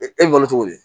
E wolo cogo di